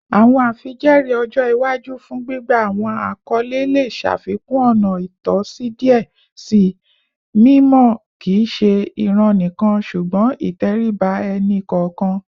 Awọn afijẹẹri ọjọ iwaju fun gbigba awọn akọle le ṣafikun ọna itọsi diẹ sii, mimọ kii ṣe iran nikan ṣugbọn iteriba ẹni kọọkan